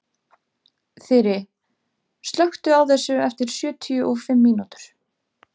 Þyri, slökktu á þessu eftir sjötíu og fimm mínútur.